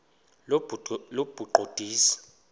lobuqondisi